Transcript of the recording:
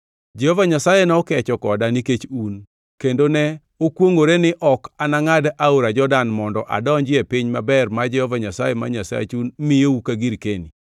Jehova Nyasaye nokecho koda nikech un, kendo ne okwongʼoreni ok anangʼad aora Jordan mondo adonji e piny maber ma Jehova Nyasaye ma Nyasachu miyou ka girkeni.